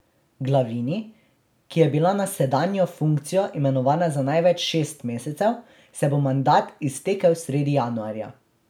Glavini, ki je bila na sedanjo funkcijo imenovana za največ šest mesecev, se bo mandat iztekel sredi januarja.